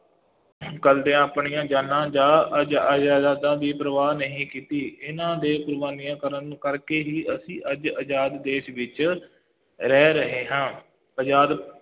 ਕਰਦਿਆਂ ਆਪਣੀਆਂ ਜਾਨਾਂ ਜਾ ਦੀ ਪਰਵਾਹ ਨਹੀਂ ਕੀਤੀ, ਇਹਨਾ ਦੇ ਕੁਰਬਾਨੀਆਂ ਕਰਨ ਕਰਕੇ ਹੀ ਅਸੀਂ ਅੱਜ ਆਜ਼ਾਦ ਦੇਸ਼ ਵਿੱਚ ਰਹਿ ਰਹੇ ਹਾਂ, ਆਜ਼ਾਦ